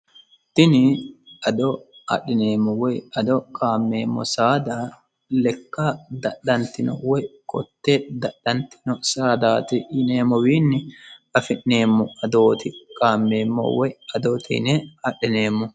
tini ado adhineemmo woy ado qaammeemmo saada lekka dadhantino woy kotte dadhantino saadaati yineemmowiinni afi'neemmo adooti qaammeemmo woy adoote yine adhineemmo